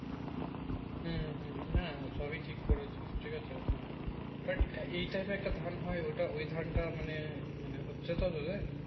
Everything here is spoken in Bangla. হুম হুম হুম সবই ঠিক করেছিস ঠিক আছে দেখ এই time একটা ধান হয় ওটা ওই ধান তা মানে মানে হচ্ছে তো তোদের